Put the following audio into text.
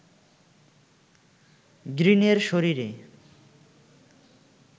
গ্রিনের শরীরে